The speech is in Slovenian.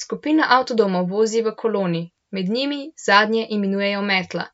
Skupina avtodomov vozi v koloni, med njimi, zadnje imenujejo metla,